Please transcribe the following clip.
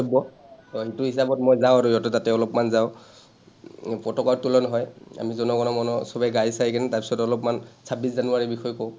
বক্তব্য, সেইটো হিচাপত মই যাওঁ আৰু সিহঁতৰ তাতে অলপমান যাওঁ, পতাকা উত্তোলন হয়, আমি জন গণ মন চবে গাই চাই কেনে তাৰপিছত অলপমানl̥ ছাব্বিছ জানুৱাৰীৰ বিষয়ে কওঁ।